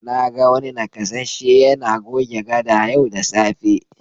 Na ga wani nakasasshe yana goge gada yau da safe.